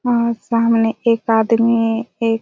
वहाँ एक सामने एक आदमी एक--